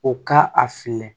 O ka a filɛ